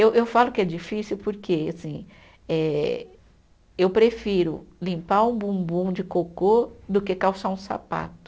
Eu eu falo que é difícil porque assim eh, eu prefiro limpar um bumbum de cocô do que calçar um sapato.